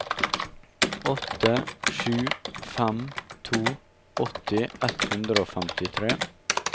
åtte sju fem to åtti ett hundre og femtitre